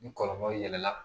Ni kɔlɔlɔ yɛlɛla